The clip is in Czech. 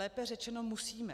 Lépe řečeno musíme.